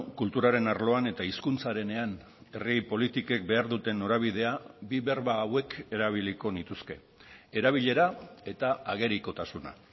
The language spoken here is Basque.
kulturaren arloan eta hizkuntzarenean herri politikek behar duten norabidea bi berba hauek erabiliko nituzke erabilera eta agerikotasuna